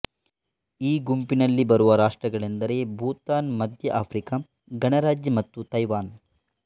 ಈ ಗುಂಪಿನಲ್ಲಿ ಬರುವ ರಾಷ್ಟ್ರಗಳೆಂದರೆ ಭೂತಾನ್ ಮಧ್ಯ ಆಫ್ರಿಕಾ ಗಣರಾಜ್ಯ ಮತ್ತು ಥೈವಾನ್